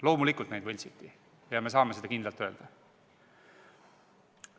Loomulikult neid võltsiti ja me saame seda kindlalt öelda.